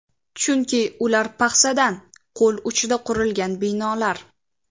Chunki ular paxsadan, qo‘l uchida qurilgan binolar.